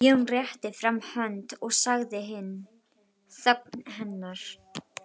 Jón rétti fram hönd og sagði inn í þögn hennar